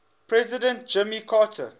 president jimmy carter